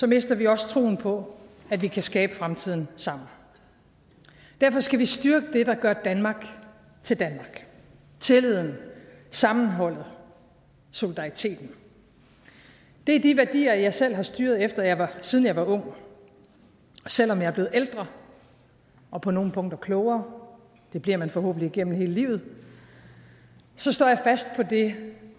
mister vi også troen på at vi kan skabe fremtiden sammen derfor skal vi styrke det der gør danmark til danmark tilliden sammenholdet solidariteten det er de værdier jeg selv har styret efter siden jeg var ung selv om jeg er blevet ældre og på nogle punkter klogere det bliver man forhåbentlig gennem hele livet så står jeg fast på det